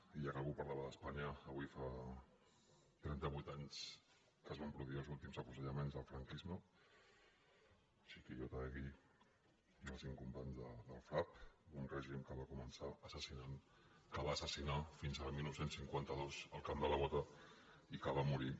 i ja que algú parlava d’espanya avui fa trenta·vuit anys que es van produir els últims afuse·llaments del franquisme txiki i otaegi els cinc com·panys del frap d’un règim que va començar assas·sinant que va assassinar fins al dinou cinquanta dos al camp de la bota i que va morir